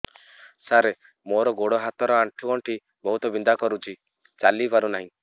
ସାର ମୋର ଗୋଡ ହାତ ର ଆଣ୍ଠୁ ଗଣ୍ଠି ବହୁତ ବିନ୍ଧା କରୁଛି ଚାଲି ପାରୁନାହିଁ